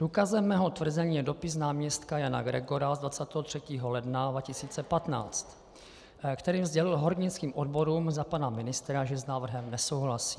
Důkazem mého tvrzení je dopis náměstka Jana Gregora z 23. ledna 2015, kterým sdělil hornickým odborům za pana ministra, že s návrhem nesouhlasí.